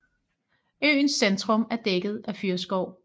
Øens centrum er dækket af fyrreskov